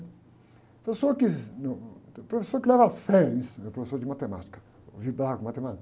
Professor que, professor que leva a sério isso, né? Professor de matemática, com matemática.